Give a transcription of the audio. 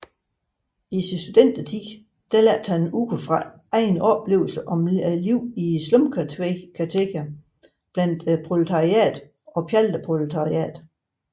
I sin studentertid lærte han ud fra egne oplevelser om livet i slumkvarterne blandt proletariatet og pjalteproletariatet